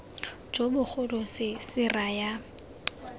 jo bogolo se se raya